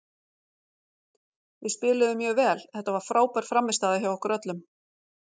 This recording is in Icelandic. Við spiluðum mjög vel, þetta var frábær frammistaða hjá okkur öllum.